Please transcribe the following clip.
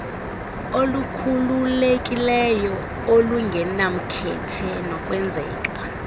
olukhululekileyo olungenamkhethe nolwenzeka